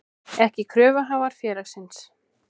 ekki kröfuhafar félagsins.